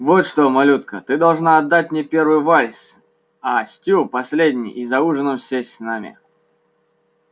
вот что малютка ты должна отдать мне первый вальс а стю последний и за ужином сесть с нами